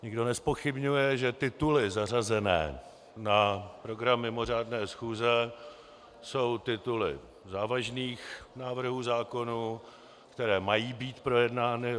Nikdo nezpochybňuje, že tituly zařazené na program mimořádné schůze jsou tituly závažných návrhů zákonů, které mají být projednány.